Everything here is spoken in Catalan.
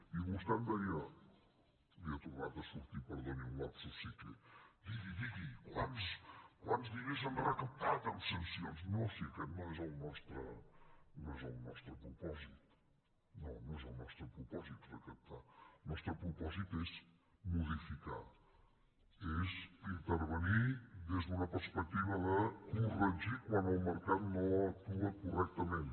i vostè em deia li ha tornat a sortir perdoni un lapsus psique digui digui quants diners han recaptat en sancions no si aquest no és el nostre propòsit no no és el nostre propòsit recaptar el nostre propòsit és modificar és intervenir des d’una perspectiva de corregir quan el mercat no actua correctament